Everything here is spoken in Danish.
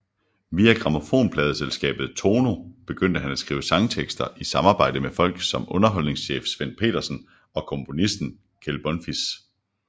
Via grammofonpladeselskabet Tono begyndte han at skrive sangtekster i samarbejde med folk som underholdningschef Svend Pedersen og komponisten Kjeld Bonfils